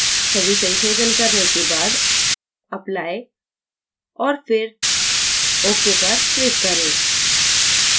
सभी संशोधन करने के बाद apply और फिर ok पर click करें